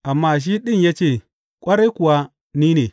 Amma shi ɗin ya ce, Ƙwarai kuwa ni ne.